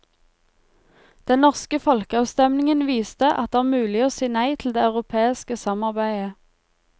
Den norske folkeavstemningen viste at det er mulig å si nei til det europeiske samarbeidet.